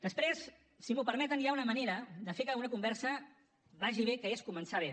després si m’ho permeten hi ha una manera de fer que una conversa vagi bé que és començar bé